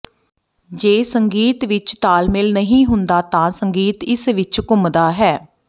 ਜੇ ਸੰਗੀਤ ਵਿਚ ਤਾਲਮੇਲ ਨਹੀਂ ਹੁੰਦਾ ਤਾਂ ਸੰਗੀਤ ਇਸ ਵਿਚ ਘੁੰਮਦਾ ਹੈ